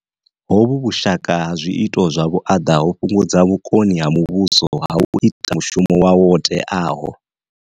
Hovhu vhushaka ha zwiito zwa vhuaḓa ho fhungudza vhukoni ha muvhuso ha u ita mushumo wawo wo teaho.